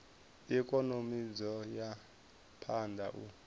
ikonomi dzo ya phanda u